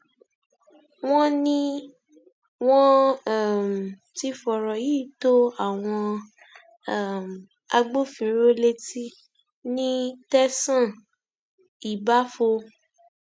wọn ní wọn um ti fọrọ yìí tó àwọn um agbófinró létí ní tẹsán ìbáfo